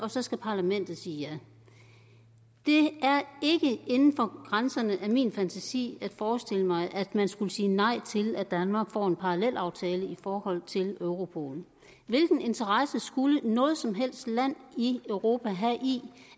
så skal parlamentet sige ja det er ikke inden for grænserne af min fantasi at forestille mig at man skulle sige nej til at danmark får en parallelaftale i forhold til europol hvilken interesse skulle noget som helst land i europa have i